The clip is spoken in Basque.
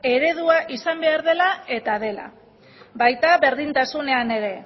eredua izan behar dela eta dela baita berdintasunean ere